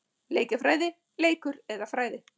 Leikjafræði- leikur eða fræði?